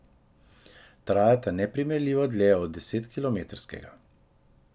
Trajata neprimerljivo dlje od desetkilometrskega.